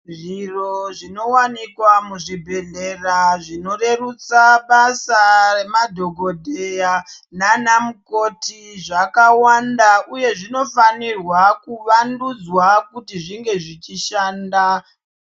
Zviro zvinowanikwa muzvibhedhlera zvinorerutsa basa nemadhokodheya nanamukoti zvakawanda uye zvinofanirwa kuvandudzwa kuti zvinge zvichishanda.